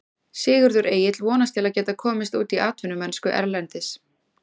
Sigurður Egill vonast til að geta komist út í atvinnumennsku erlendis.